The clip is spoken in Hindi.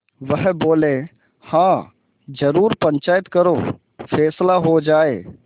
वह बोलेहाँ जरूर पंचायत करो फैसला हो जाय